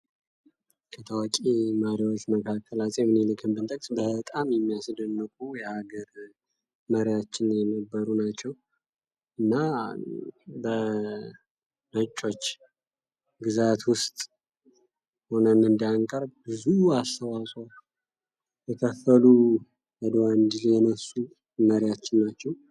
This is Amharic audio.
ከታዋቂ መሪዎች መካከል አፄ ሚኒልክን ብንጠቅስ በጣም የሚያስደንቁ የሀገር መሪያችን የነበሩ ናቸው። እና በነጮች ግዛት ውስጥ ሁነን እንዳንቀር ብዙ አስተዋጽኦ የከፈሉ፤ የአድዋን ድል የነሱ መሪያችን ናቸው።